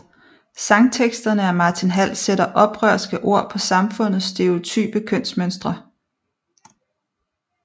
Sangteksterne af Martin Hall sætter oprørske ord på samfundets stereotype kønsmønstre